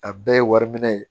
A bɛɛ ye wari minɛ ye